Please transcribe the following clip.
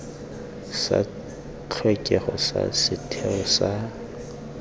sa tlhokego sa setheo sa